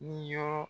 Ni yɔrɔ